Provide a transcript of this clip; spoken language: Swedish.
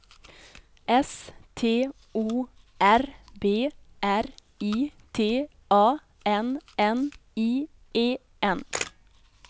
S T O R B R I T A N N I E N